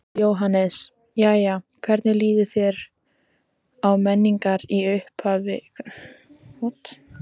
Jóhannes: Jæja hvernig líður þér á Menningar, í upphafi Menningarnætur?